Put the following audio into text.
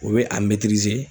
U be a